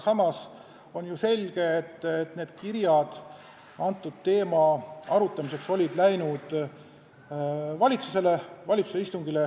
Samas on ju selge, et selle teema arutamiseks läksid need kirjad varem valitsusele, valitsuse istungile.